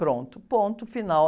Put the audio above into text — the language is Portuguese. Pronto, ponto, final.